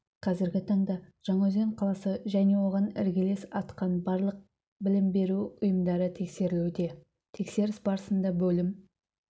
қазіргі таңда жаңаөзен қаласы және оған іргелес атқан барлық білім беру ұйымдары тексерілуде тексеріс барысында бөлім